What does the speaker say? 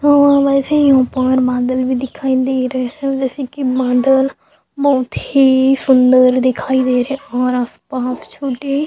और वेसे ही ऊपर बदाल भी दिखाई दे रहा है जैसे की बदाल बहुत ही सुन्दर दिखाई दे रहा है और आस पास छोटे।